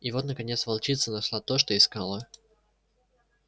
и вот наконец волчица нашла то что искала